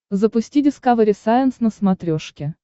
запусти дискавери сайенс на смотрешке